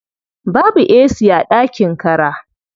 Babu ac a ɗakin kara.